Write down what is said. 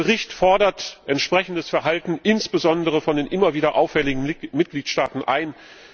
Der Bericht fordert entsprechendes Verhalten insbesondere von den immer wieder auffälligen Mitgliedstaaten ein.